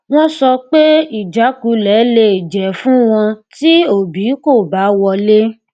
wọn sọ pé ìjákulẹ lè jẹ fún wọn tí obi kò bá wọlé